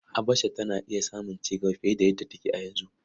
Habasha tana iya samun cigaba fiye da yadda take a yanzu.